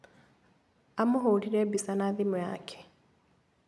Amũhũrire mbica na thimũ yake.